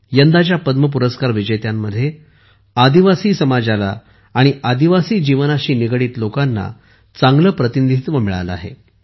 यंदाच्या पद्म पुरस्कार विजेत्यांमध्ये आदिवासी समाजाला आणि आदिवासी जीवनाशी निगडित लोकांना चांगले प्रतिनिधित्व मिळाले आहे